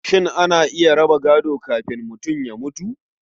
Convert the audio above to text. Shin ana iya raba gado kafin mutum ya mutu?